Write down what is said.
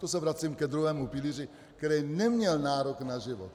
To se vracím ke druhému pilíři, který neměl nárok na život.